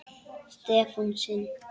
Stefán sinn.